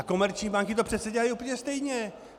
A komerční banky to přece dělají úplně stejně.